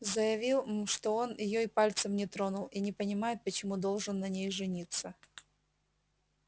заявил мм что он её и пальцем не тронул и не понимает почему должен на ней жениться